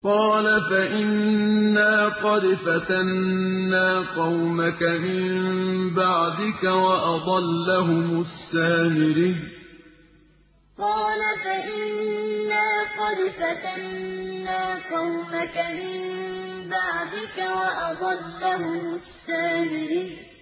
قَالَ فَإِنَّا قَدْ فَتَنَّا قَوْمَكَ مِن بَعْدِكَ وَأَضَلَّهُمُ السَّامِرِيُّ قَالَ فَإِنَّا قَدْ فَتَنَّا قَوْمَكَ مِن بَعْدِكَ وَأَضَلَّهُمُ السَّامِرِيُّ